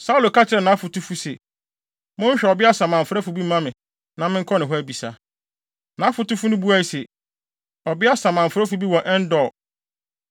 Saulo ka kyerɛɛ nʼafotufo se, “Monhwehwɛ ɔbea samanfrɛfo bi mma me, na menkɔ ne hɔ abisa.” Nʼafotufo no buae se, “Ɔbea samanfrɛfo bi wɔ En-Dor.”